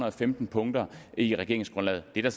og femten punkter i regeringsgrundlaget det er